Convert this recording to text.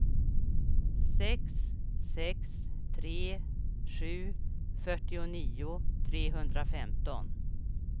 sex sex tre sju fyrtionio trehundrafemton